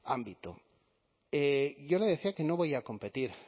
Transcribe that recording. a este ámbito yo le decía que no voy a competir